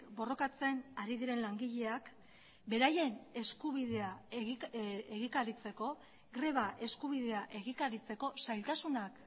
borrokatzen ari diren langileak beraien eskubidea egikaritzeko greba eskubidea egikaritzeko zailtasunak